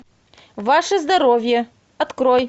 ваше здоровье открой